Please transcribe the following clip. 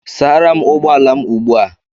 Sara m ụgbọ ala m ugbu a!